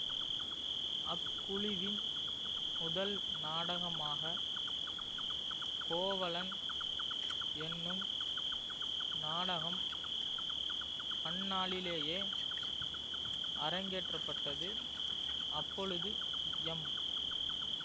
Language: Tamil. அக்குழுவின் முதல்நாடகமாக கோவலன் என்னும் நாடகம் அந்நாளிலேயே அரங்கேற்றப்பட்டது அப்பொழுது எம்